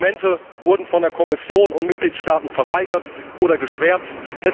Dokumente wurden von der Kommission und Mitgliedstaaten verweigert oder geschwärzt.